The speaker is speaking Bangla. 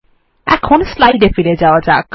এখন স্লাইড এ ফিরে যাওয়া যাক